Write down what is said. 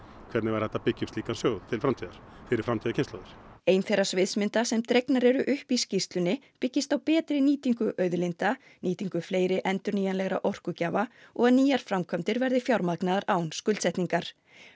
hvernig væri hægt að byggja upp slíkan sjóð til framtíðar fyrir framtíðarkynslóðir ein þeirra sviðsmynda sem dregnar eru upp í skýrslunni byggist á betri nýtingu auðlinda nýtingu fleiri endurnýjanlegra orkugjafa og að nýjar framkvæmdir verði fjármagnaðar án skuldsetningar